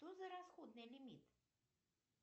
что за расходный лимит